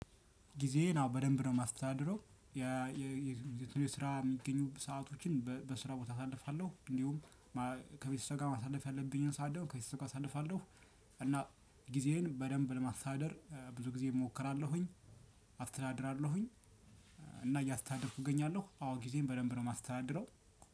ጊዜዬን አዎ በደንብ ነው የማስተዳድረው የስራ የሚገኙ ሰአቶችን በስራ ቦታ አሳልፋለሁ እንዲሁም ከቤተሰብ ጋር ማሳለፍ ያለብኝን ሰዓት ደግሞ ከቤተሰብ ጋር አሳልፋለሁ። እና ጊዜዬን በደንብ ለማስተዳደር ብዙ ጊዜ እሞክራለሁኝ። አስተዳድራለሁኝ። እና እያስተዳደርኩ እገኛለሁ አዎ ጊዜዬን በደንብ ነው የማስተዳድረው